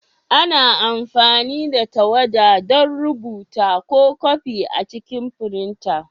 Ana amfani da tawada don rubuta ko kwafi a cikin firinta.